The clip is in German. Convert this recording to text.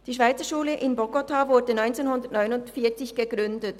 Die Schweizerschule in Bogotá wurde 1949 gegründet.